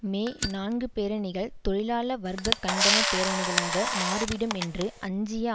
மே நான்கு பேரணிகள் தொழிலாள வர்க்க கண்டன பேரணிகளாக மாறிவிடும் என்று அஞ்சிய